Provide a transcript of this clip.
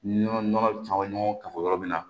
Nɔnɔ nɔnɔ caman ɲɔgɔn kafo yɔrɔ min na